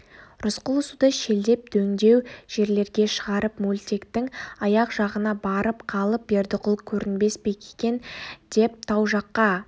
рысқұл суды шелдеп дөңдеу жерлерге шығарып мөлтектің аяқ жағына барып қалып бердіқұл көрінбес пе екен деп тау жаққа